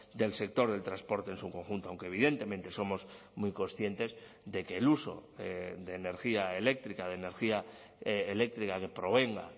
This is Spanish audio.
del sector del transporte en su conjunto aunque evidentemente somos muy conscientes de que el uso de energía eléctrica de energía eléctrica que provenga